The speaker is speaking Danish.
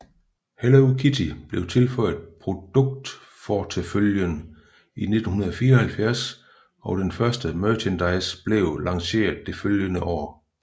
Hello Kitty blev tilføjet produktfortefølgen i 1974 og den første merchandise blev lanceret det følgende år